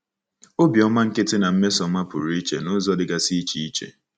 Obiọma nkịtị na mmesoọma pụrụ iche n’ụzọ dịgasị iche iche.